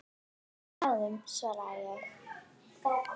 Bráðum svaraði ég.